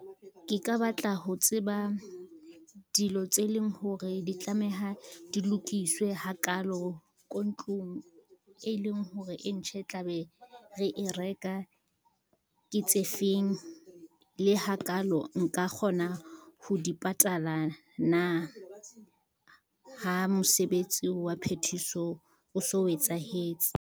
Ke ka batla ho tseba dilo tse leng hore di tlameha di lokiswe ha kalo ko ntlong e leng hore e ntjha e tla be re e reka ke tse feng, le ha kalo nka kgona ho di patala na? Ha mosebetsi wa phethiso o so o etsahetse.